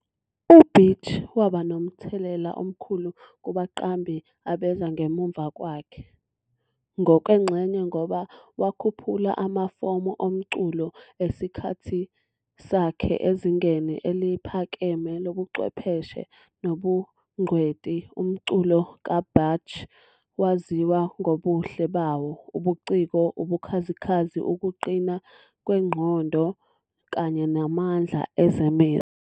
UBach waba nomthelela omkhulu kubaqambi abeza ngemuva kwakhe, ngokwengxenye ngoba wakhuphula amafomu omculo esikhathi sakhe ezingeni eliphakeme lobuchwepheshe nobungcweti. Umculo kaBach waziwa ngobuhle bawo, ubuciko, ubukhazikhazi, ukuqina kwengqondo kanye namandla ezemizwa.